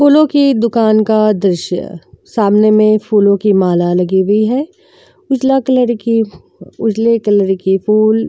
फूलों की दुकान का दृश्य सामने में फूलों की माला लगी हुई है। उजला कलर की उजले कलर की फूल --